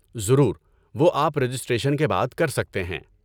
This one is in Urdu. ضرور، وہ آپ رجسٹریشن کے بعد کر سکتے ہیں۔